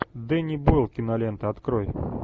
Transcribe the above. денни бойл кинолента открой